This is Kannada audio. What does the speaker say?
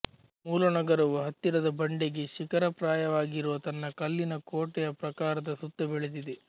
ಮೂಲ ನಗರವು ಹತ್ತಿರದ ಬಂಡೆಗೆ ಶಿಖರಪ್ರಾಯವಾಗಿರುವ ತನ್ನ ಕಲ್ಲಿನ ಕೋಟೆಯ ಪ್ರಾಕಾರದ ಸುತ್ತ ಬೆಳೆದಿದೆ